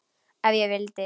Ef ég vildi.